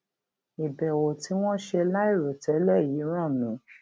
ìbèwò tí wón ṣe láìròtélè yìí rán mi